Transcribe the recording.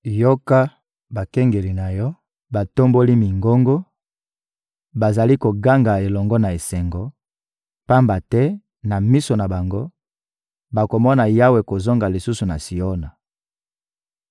Yoka! Bakengeli na yo batomboli mingongo; bazali koganga elongo na esengo, pamba te, na miso na bango, bakomona Yawe kozonga lisusu na Siona.